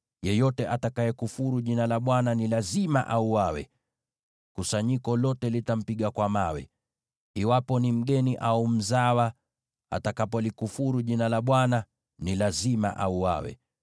yeyote atakayekufuru Jina la Bwana ni lazima auawe. Kusanyiko lote litampiga kwa mawe. Iwe ni mgeni au mzawa, atakapolikufuru Jina la Bwana , ni lazima auawe.